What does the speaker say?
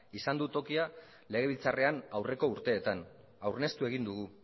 izan du tokia legebiltzarrean aurreko urteetan